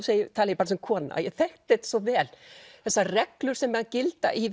tala ég bara sem kona að ég þekkti þetta svo vel þessar reglur sem gilda í